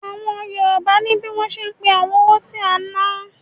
Àwọn Yorùbá ní bí wọ́n ṣe ń pé àwọn owó tí a ń ná.